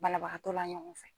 Balabagatɔ la ɲɔgɔn fɛ